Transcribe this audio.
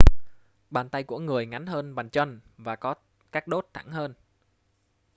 bàn tay của người ngắn hơn bàn chân và có các đốt thẳng hơn